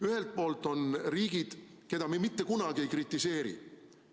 Ühel poolt on riigid, keda me mitte kunagi ei kritiseeri.